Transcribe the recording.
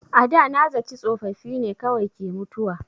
A da na zaci tsofaffi ne kawai ke mutuwa.